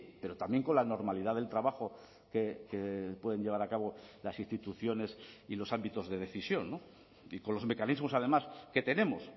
pero también con la normalidad del trabajo que pueden llevar a cabo las instituciones y los ámbitos de decisión y con los mecanismos además que tenemos